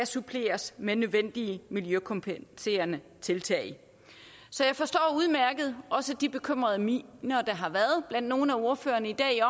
suppleres med nødvendige miljøkompenserende tiltag så jeg forstår udmærket også de bekymrede miner der har været blandt nogle af ordførerne i dag